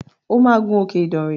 O máa gun òkè Idànrè!